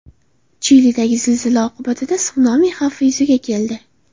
Chilidagi zilzila oqibatida sunami xavfi yuzaga keldi.